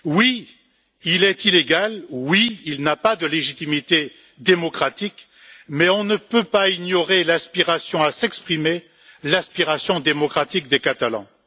Oui, il est illégal, oui, il n'a pas de légitimité démocratique, mais on ne peut pas ignorer l'aspiration à s'exprimer, l'aspiration démocratique des Catalans.